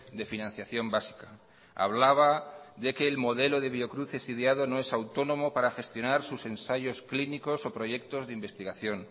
de financiación básica hablaba de que el modelo de biocruces ideado no es autónomo para gestionar sus ensayos clínicos o proyectos de investigación